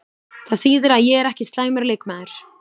Það þýðir að ég er ekki slæmur leikmaður!